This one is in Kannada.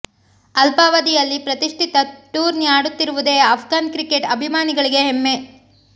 ಅಲ್ಪ ಅವದಿಯಲ್ಲಿ ಪ್ರತಿಷ್ಠಿತ ಟೂರ್ನಿ ಆಡುತ್ತಿರುವುದೇ ಅಫ್ಘಾನ್ ಕ್ರಿಕೆಟ್ ಅಭಿಮಾನಿಗಳಿಗೆ ಹೆಮ್ಮೆ